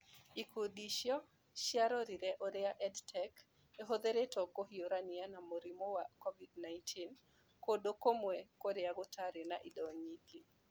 Ikundi icio nĩ ciarorire ũrĩa EdTech ĩhũthĩrĩtwo kũhiũrania na mũrimũ wa COVID-19 kũndũ kũmwe kũrĩa gũtarĩ na indo nyingĩ.